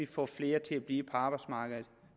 få flere til at blive på arbejdsmarkedet